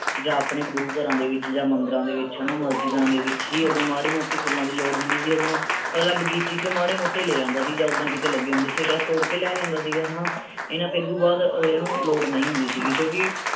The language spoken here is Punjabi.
ਜਾਂ ਆਪਣੇ ਗੁਰੂ ਘਰਾਂ ਦੇ ਵਿਚ ਜਾਂ ਮੰਦਿਰਾਂ ਦੇ ਵਿਚ ਹੈਨਾ ਮਸਜਿਦਾਂ ਦੇ ਵਿਚ ਹੀ ਉਦੋਂ ਮਾੜੇ ਮੋਟੇ ਫੁੱਲਾਂ ਦੀ ਲੋੜ ਹੁੰਦੀ ਸੀ ਉਦੋਂ ਉਹ ਤਾਂ ਬਗੀਚੀ ਚੋਂ ਮਾੜੇ ਮੋਟੇ ਲੈ ਆਂਦਾ ਸੀ ਜਾਂ ਉਦਾਂ ਕੀਤੇ ਲੱਗੇ ਹੁੰਦੇ ਸੀ ਤਾਂ ਤੋੜ ਕੇ ਲੈ ਲੈਂਦਾ ਸੀਗਾ ਹੈਨਾ ਇਹਨਾਂ ਫੇਰ ਉਹਦੋਂ ਬਾਅਦ ਅਹ ਲੋੜ ਨਹੀਂ ਹੁੰਦੀ ਸੀ ਕਿਉਂਕਿ